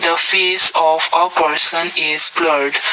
the face of a person is blurred.